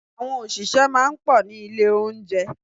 Àwọn òṣìṣẹ́ máa ń pọ̀ ní ilé oúnjẹ.